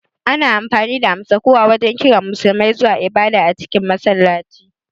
Ana amfani da amsa-kuwa wajen kiran Musulmai zuwa ibada a cikin masallaci